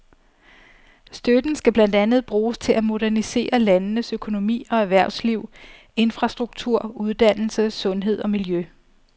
Støtten skal blandt andet bruges til at modernisere landenes økonomi og erhvervsliv, infrastruktur, uddannelse, sundhed og miljø.